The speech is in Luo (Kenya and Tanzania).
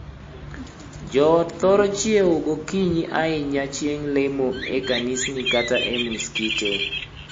Joot thoro chiewo gokinyi ahinya chieng' lemo e kanisni kata e muskite.